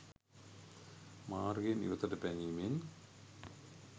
මාර්ගයෙන් ඉවතට පැනීමෙන්